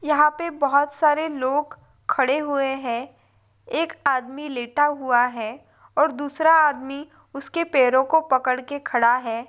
यहा पे बहुत सारे लोग खड़े हुए है एक आदमी लेटा हुआ है और दूसरा आदमी उसके पैरोकों पकड़के खड़ा है।